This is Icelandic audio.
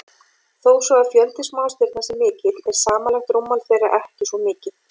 Þó svo að fjöldi smástirna sé mikill er samanlagt rúmmál þeirra ekki svo mikið.